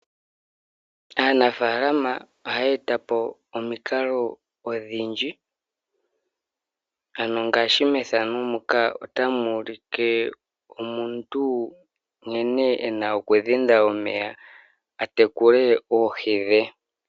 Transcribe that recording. Aanafaalama ohaya e ta po omikalo odhindji ano ngaashi methano muka otamu ulike omuntu nkene e na okudhinda omeya a tekule oohi dhe.